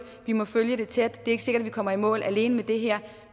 vi må følge det tæt er ikke sikkert vi kommer i mål alene med det her